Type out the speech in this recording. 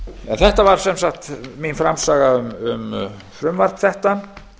þetta var sem sagt mín framsaga um frumvarp þetta